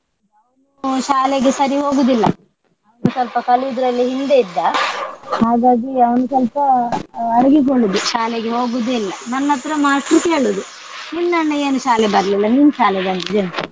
ಅವನು ಶಾಲೆಗೆ ಸರಿ ಹೋಗುದಿಲ್ಲ ಅವನು ಸ್ವಲ್ಪ ಕಲಿಯುದ್ರಲ್ಲಿ ಹಿಂದೆ ಇದ್ದ ಹಾಗಾಗಿ ಅವನು ಸ್ವಲ್ಪ ಅಹ್ ಅಡಗಿಕೊಳ್ಳುದು ಶಾಲೆಗೆ ಹೋಗುದೇ ಇಲ್ಲ. ನನ್ನತ್ರ ಮಾಷ್ಟ್ರ್ ಕೇಳುದು ನಿನ್ನ ಅಣ್ಣ ಏನು ಶಾಲೆಗೆ ಬರ್ಲಿಲ್ಲ ನೀನ್ ಶಾಲೆ ಬಂದಿದಿ ಅಂತ.